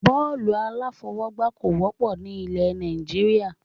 Bọ́ọ́lù alafọ̀wọ́gba kò wọ́pọ̀ ni ilẹ̀ Nàìjíríà.